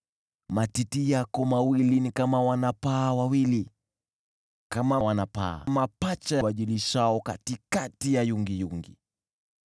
Matiti yako mawili ni kama wana-paa wawili, kama wana-paa mapacha wajilishao katikati ya yungiyungi.